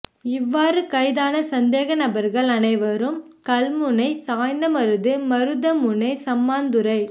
இவ்வாறு கைதான சந்தேக நபர்கள் அனைவரும் கல்முனை சாய்ந்தமருது மருதமுனை சம்மாந்துறை